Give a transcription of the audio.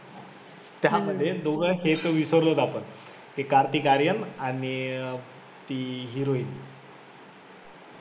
त्यामध्ये दोघांचे तर विसरलोच आपण एक कार्तिक आर्यन आणि अं ती heroin